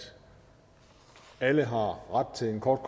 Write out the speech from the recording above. alle har ret til en kort